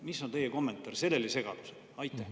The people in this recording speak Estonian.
Mis on teie kommentaar selle segaduse kohta?